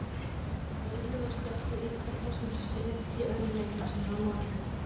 Áhorfendur bauluðu og slepptu Ítalir þessum sið í öðrum leikjum sínum á mótinu.